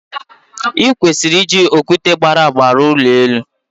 I kwesịrị iji okwute gbara agba arụ ụlọ elu.